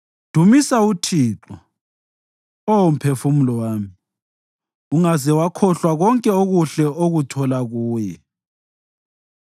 Dumisa uThixo, Oh mphefumulo wami, ungaze wakhohlwa konke okuhle okuthola kuye